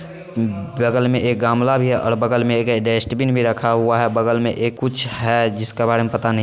ब-बगल में एक गमला भी है और बगल में ए-एक डस्टबिन भी रखा हुआ है| बगल में एक कुछ है जिसके बारे में पता नहीं।